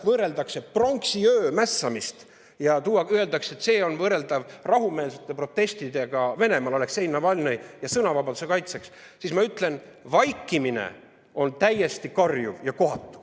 Kui ma loen, et pronksiööl mässamist võrreldakse rahumeelsete protestidega Venemaal Aleksei Navalnõi ja sõnavabaduse kaitseks, siis ma ütlen, et vaikimine on täiesti karjuv ja kohatu.